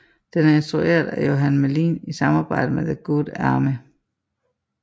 Den er instrueret af Johan Melin i samarbejde med the Good Army